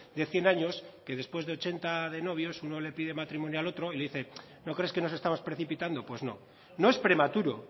de cien años que después de ochenta de novios uno le pide matrimonio al otro y le dice no crees que nos estamos precipitando pues no no es prematuro